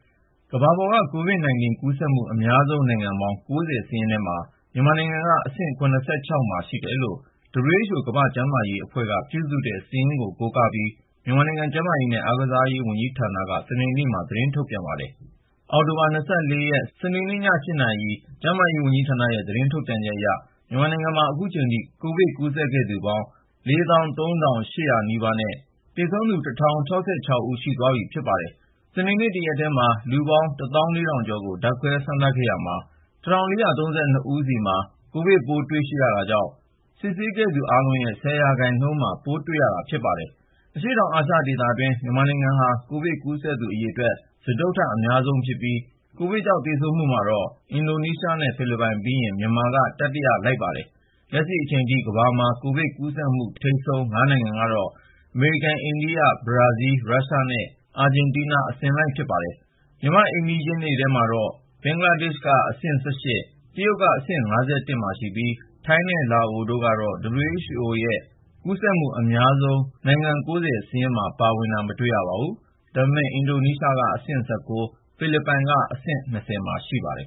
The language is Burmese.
ကမ္ဘာပေါ်က COVID-19 ကူးစက်မှု အများဆုံးနိုင်ငံပေါင်း ၉၀ စာရင်းထဲမှာ မြန်မာနိုင်ငံက အဆင့် ၇၆ မှာရှိတယ်လို့ WHO ကမ္ဘာ့ကျန်းမာရေးအဖွဲ့က ပြုစုတဲ့ စာရင်းကို ကိုးကားပြီး မြန်မာနိုင်ငံ ကျန်းမာရေးနဲ့ အားကစားဝန်ကြီးဌာနက စနေနေ့ညမှာ သတင်းထုတ်ပြန်ပါတယ်။ အောက်တိုဘာ ၂၄ စနေနေ့ည ၈ နာရီ ကျန်းမာရေးဝန်ကြီးဌာနရဲ့ သတင်းထုတ်ပြန်ချက်အရ မြန်မာနိုင်ငံမှာ ခုချိန်ထိ ကိုဗစ် ကူးစက်ခဲ့သူပေါင်း ၄၃,၇၈၈ နဲ့ သေဆုံးသူ ၁,၀၆၆ ဦး ရှိသွားပြီ ဖြစ်ပါတယ်။ စနေနေ့ တရက်တည်းမှာ လူပေါင်း ၁၄,၀၀၀ ကျော်ကို ဓာတ်ခွဲစမ်းသပ်ခဲ့ရာမှာ လူပေါင်း ၁,၄၃၂ ဦးဆီမှာ ကိုဗစ်ပိုး တွေ့ရှိရတာကြောင့် စစ်ဆေးခဲ့သူအားလုံးရဲ့ ၁၀ ရာခိုင်နှုန်းမှာ ပိုးတွေ့ရတာ ဖြစ်ပါတယ်။ အရှေ့တောင်အာရှဒေသအတွင်း မြန်မာနိုင်ငံဟာ ကိုဗစ်ကူးစက်သူ အရေအတွက် စတုတ္ထအများဆုံးဖြစ်ပြီး ကိုဗစ်ကြောင့် သေဆုံးမှုမှာတော့ အင်ဒိုနီးရှားနဲ့ ဖိလစ်ပိုင်ပြီးရင် မြန်မာက တတိယအများဆုံး ဖြစ်ပါတယ်။ လက်ရှိအချိန်ထိ ကမ္ဘာမှာ ကိုဗစ်ကူးစက်မှု ထိပ်ဆုံး ၅ နိုင်ငံကတော့ အမေရိကန်၊ အိန္ဒိယ၊ ဘရာဇီးလ်၊ ရုရှားနဲ့ အာဂျင်တီးနား အစဉ်လိုက် ဖြစ်ပါတယ်။ မြန်မာ့အိမ်နီးချင်းထဲမှာတော့ ဘင်္ဂလားဒေ့ရှ်က အဆင့် ၁၈၊ တရုတ်နိုင်ငံက အဆင့် ၅၁ မှာရှိပြီး ထိုင်းနဲ့ လာအိုကတော့ WHO ကထုတ်ပြန်တဲ့ ကူးစက်မှုအများဆုံး နိုင်ငံ ၉၀ စာရင်းမှာ ပါဝင်တာ မတွေ့ရပါဘူး။ ဒါပေမယ့် အင်ဒိုနီးရှားက အဆင့် ၁၉၊ ဖိလစ်ပိုင်က အဆင့် ၂၀ မှာ ရှိပါတယ်